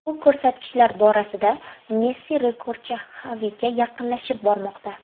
Bu ko‘rsatkichlar borasida Messi rekordchi Xaviga yaqinlashib bormoqda.